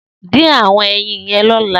Din awọn ẹyin yèn lọlà